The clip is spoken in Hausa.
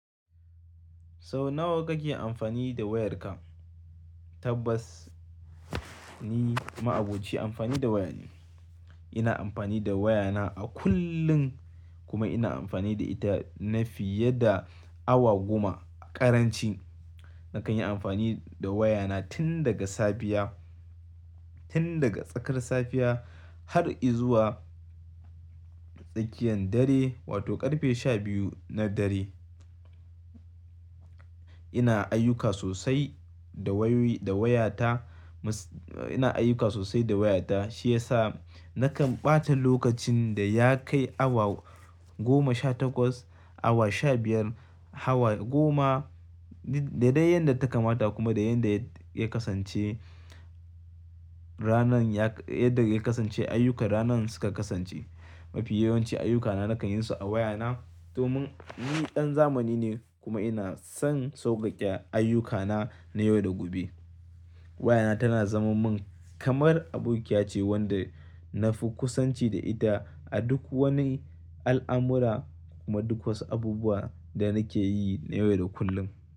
Sau nawa kake amfani da wayarka? Tabbas ni ma abocin amfani da waya ne. Ina amfani da wayana a kullum, kuma ina amfani da ita na fiye da awa goma a ƙaranci. Nakan yi amfani da wayana tin daga safiya, tin daga tsakar safiya har izuwa tsakiyan dare wato ƙarfe sha biyu na dare. Ina ayyuka sosai da wayoyi da wayata. Ina ayyuka sosai da wayata, shi yasa nakan ɓata lokacin da ya kai awa goma sha takwas, awa sha biyar, awa goma daidai yadda ta kamata kuma da yadda ya kasance ranan yadda yake kasance ayyukar ranan suka kasance. Mafi yawanci ayyukana nakan yinsu a wayana, domin ni ɗan zamani ne kuma ina son sauƙaƙe ayyukana na yau da gobe. Wayana tana zama min kamar abokiya ce wanda na fi kusanci da ita a duk wani al'amura kuma duk wasu abubuwa da nake yi na yau da kullum.